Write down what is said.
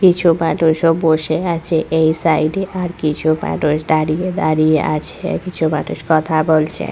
কিছু মানুষও বসে আছে এই সাইড এ আর কিছু মানুষ দাঁড়িয়ে দাঁড়িয়ে আছে কিছু মানুষ কথা বলছে।